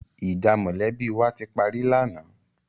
Ìjà mọ̀lẹ́bí wa ti parí lánàá.